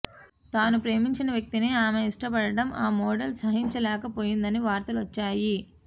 తాను ప్రేమించిన వ్యక్తిని ఆమె ఇష్టపడటం ఆ మోడల్ సహించలేకపోయిందని వార్తలు వచ్చాయి